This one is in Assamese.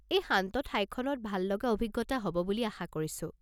এই শান্ত ঠাইখনত ভাললগা অভিজ্ঞতা হ'ব বুলি আশা কৰিছোঁ।